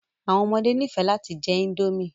Àwọn ọmọde nifẹ lati jẹ indomie